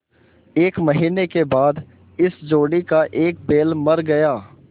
एक महीने के बाद इस जोड़ी का एक बैल मर गया